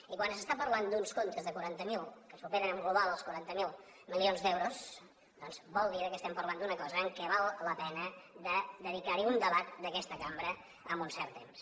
i quan s’està parlant d’uns comptes que superen en global els quaranta miler milions d’euros doncs vol dir que estem parlant d’una cosa en què val la pena de dedicarhi un debat d’aquesta cambra amb un cert temps